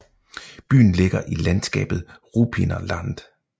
Byen ligger i landskabet Ruppiner Land